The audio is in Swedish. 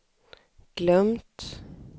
glömt